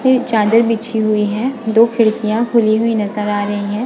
ये चादर बिछी हुई है दो खिड़कियां खुली हुई नज़र आ रही है --